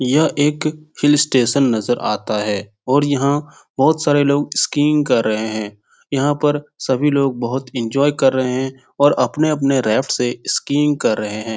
यह एक hill station नजर आता है और यहाँ बहुत सारे लोग स्किंग कर रहे हैं यहाँ पर सभी लोग बहुत एन्जॉय कर रहे हैं और अपने अपने राफ्ट से स्किंग कर रहे है ।